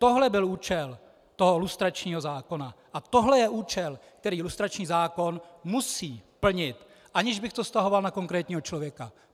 Tohle byl účel toho lustračního zákona a tohle je účel, který lustrační zákon musí plnit, aniž bych to vztahoval na konkrétního člověka.